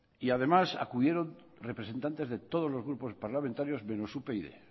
y además acudieron representantes de todos los grupos parlamentarios menos upyd